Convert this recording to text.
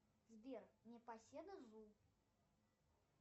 сбер непоседа зу